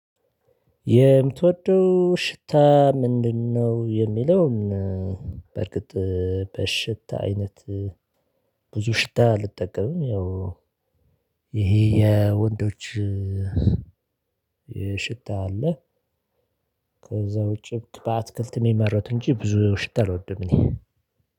የምትወደው ሽታ ምንድነው? የሚለውን በርግጥ በሽታ አይነት ብዙ ሽታ አልጠቀምም። ያው ይሄ የወንዶች ሽታ አለ። ከዛ ውጪ በአትክልት የሚመረቱ እንጂ ብዙ ሽታ አልወድም። እኔ